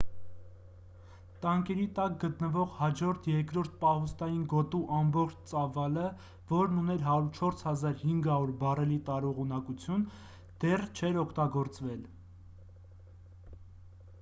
տանկերի տակ գտնվող հաջորդ երկրորդ պահուստային գոտու ամբողջ ծավալը որն ուներ 104,500 բարելի տարողունակություն դեռ չէր օգտագործվել